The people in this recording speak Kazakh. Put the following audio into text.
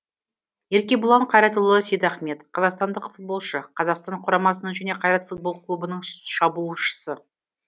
еркебұлан қайратұлы сейдахмет қазақстандық футболшы қазақстан құрамасының және қайрат футбол клубының шабуылшысы